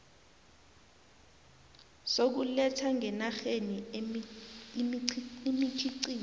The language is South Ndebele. sokuletha ngenarheni imikhiqizo